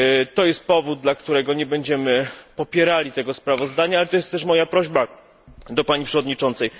To jest powód, dla którego nie będziemy popierali tego sprawozdania, ale to jest też moja prośba do pani przewodniczącej.